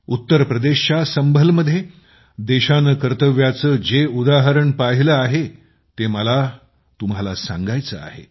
उत्तर प्रदेशच्या संभल मध्ये देशाने कर्तव्याचे जे उदाहरण पाहिले आहे जे मला तुमच्यासोबतही शेअर करायचे आहे